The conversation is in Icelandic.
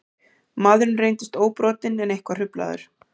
Maðurinn reyndist óbrotinn en eitthvað hruflaður